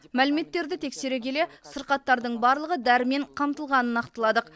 мәліметтерді тексере келе сырқаттардың барлығы дәрімен қамтылғанын нақтыладық